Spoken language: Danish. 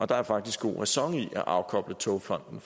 der er faktisk god ræson i at afkoble togfonden